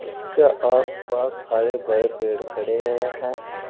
इसके आस पास हरे भरे पेड़ खड़े हुए हैं।